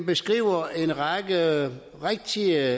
beskriver en række rigtige